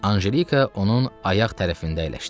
Anjelika onun ayaq tərəfində əyləşdi.